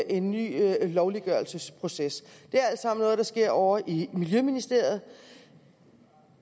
en ny lovliggørelsesproces det er alt sammen noget der sker ovre i miljøministeriet